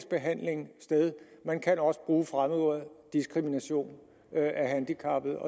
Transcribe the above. man kan også bruge fremmedordet diskrimination af handicappede